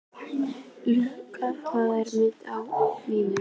Louise, hvað er á innkaupalistanum mínum?